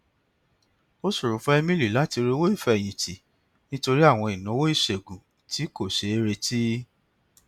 ó ṣòro fún emily láti rí owó ìfẹyìn tì nítorí àwọn ìnáwó ìṣègùn tí kò ṣeé retí